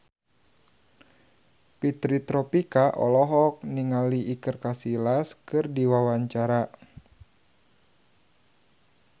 Fitri Tropika olohok ningali Iker Casillas keur diwawancara